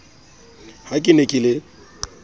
ha ke ne ke le